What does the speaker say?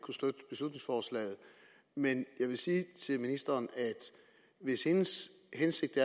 kunne støtte beslutningsforslaget men jeg vil sige til ministeren at hvis hendes hensigt